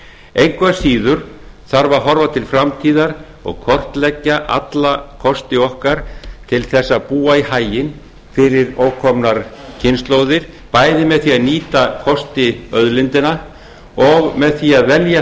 engu að síður þarf að horfa til framtíðar og kortleggja alla kosti okkar til að búa í haginn fyrir ókomnar kynslóðir bæði með því að nýta kosti auðlindanna og með því að velja